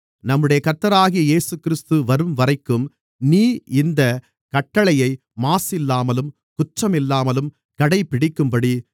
நம்முடைய கர்த்தராகிய இயேசுகிறிஸ்து வரும்வரைக்கும் நீ இந்தக் கட்டளையை மாசில்லாமலும் குற்றமில்லாமலும் கடைபிடிக்கும்படி